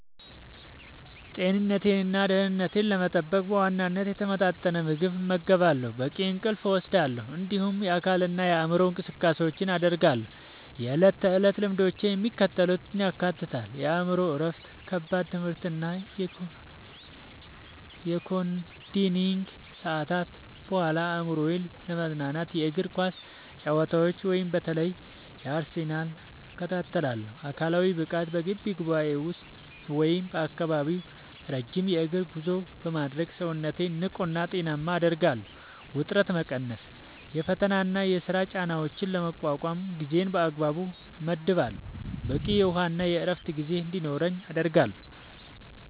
ጤንነቴንና ደህንነቴን ለመጠበቅ በዋናነት የተመጣጠነ ምግብ እመገባለሁ፣ በቂ እንቅልፍ እወስዳለሁ፣ እንዲሁም የአካልና የአእምሮ እንቅስቃሴዎችን አደርጋለሁ። የዕለት ተዕለት ልምዶቼ የሚከተሉትን ያካትታሉ፦ የአእምሮ እረፍት፦ ከከባድ የትምህርትና የኮዲንግ ሰዓታት በኋላ አእምሮዬን ለማዝናናት የእግር ኳስ ጨዋታዎችን (በተለይ የአርሰናልን) እከታተላለሁ። አካላዊ ብቃት፦ በግቢ ውስጥ ወይም በአካባቢው ረጅም የእግር ጉዞ በማድረግ ሰውነቴን ንቁና ጤናማ አደርጋለሁ። ውጥረት መቀነስ፦ የፈተናና የሥራ ጫናዎችን ለመቋቋም ጊዜን በአግባቡ እመድባለሁ፣ በቂ የውሃና የዕረፍት ጊዜ እንዲኖረኝም አደርጋለሁ።